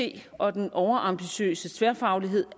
at og den overambitiøse tværfaglighed